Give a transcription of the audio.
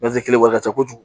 wari ka ca kojugu